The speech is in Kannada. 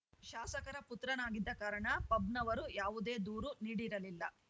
ಶಾಸಕರ ಪುತ್ರನಾಗಿದ್ದ ಕಾರಣ ಪಬ್‌ನವರು ಯಾವುದೇ ದೂರು ನೀಡಿರಲಿಲ್ಲ